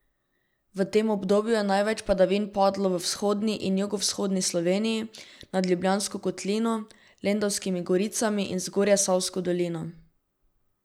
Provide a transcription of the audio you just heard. V tem obdobju je največ padavin padlo v vzhodni in jugovzhodni Sloveniji, nad Ljubljansko kotlino, Lendavskimi goricami in Zgornjesavsko dolino.